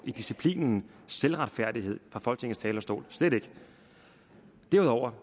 i disciplinen selvretfærdighed fra folketingets talerstol slet ikke derudover